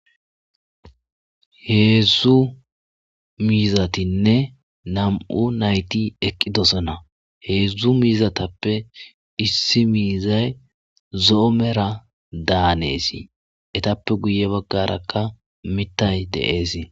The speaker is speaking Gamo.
heedzdzu miizatinne nam7u nayti eqqi dosana heedzdzu miizatappe issi miizay zo7o mera daaneesi etappe guye baggarakka mitay de'esi